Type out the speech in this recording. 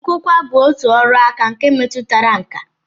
Nkụkwa bụ otu ọrụaka nke metụtara nkà